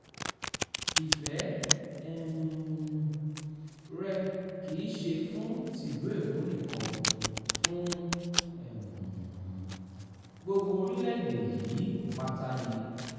ìfẹ́ um rẹ̀ kì í ṣe fún tìlú èkó nìkan fún um gbogbo orílẹ̀-èdè yìí pátá ni